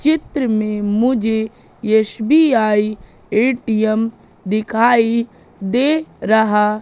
चित्र में मुझे यश _बी_आई ए_टी_एम दिखाई दे रहा--